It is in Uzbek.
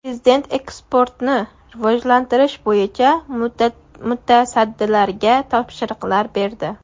Prezident eksportni rivojlantirish bo‘yicha mutasaddilarga topshiriqlar berdi.